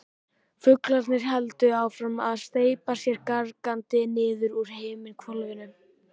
Fuglarnir héldu áfram að steypa sér gargandi niður úr himinhvolfinu.